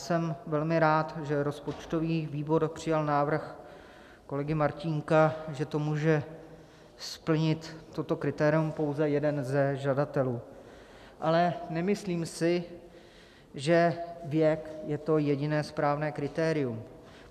Jsem velmi rád, že rozpočtový výbor přijal návrh kolegy Martínka, že to může splnit - toto kritérium - pouze jeden ze žadatelů, ale nemyslím si, že věk je to jediné správné kritérium.